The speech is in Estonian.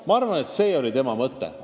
Ma arvan, et see oli tema mõte.